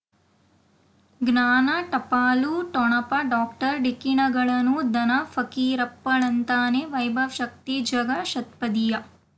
ಜ್ಞಾನ ಟಪಾಲು ಠೊಣಪ ಡಾಕ್ಟರ್ ಢಿಕ್ಕಿ ಣಗಳನು ಧನ ಫಕೀರಪ್ಪ ಳಂತಾನೆ ವೈಭವ್ ಶಕ್ತಿ ಝಗಾ ಷಟ್ಪದಿಯ